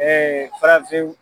farafinw